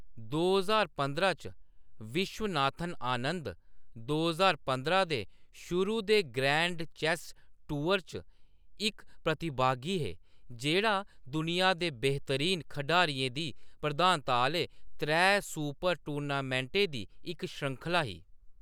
दो ज्हार पंदरां च, विश्वनाथन आनंद दो ज्हार पंदरां दे शुरू दे ग्रैंड चेस टूअर च इक प्रतिभागी हे, जेह्‌‌ड़ा दुनिया दे बेहतरीन खढारियें दी प्रधानता आह्‌‌‌ले त्रै सुपर-टूर्नामेंटें दी इक श्रृंखला ही।